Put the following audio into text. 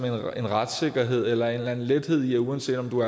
en retssikkerhed eller en eller anden lethed i at uanset om du